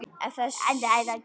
Ef þess gerist þörf